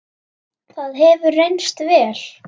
það hefur reynst vel.